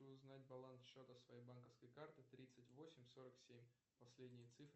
узнать баланс счета своей банковской карты тридцать восемь сорок семь последние цифры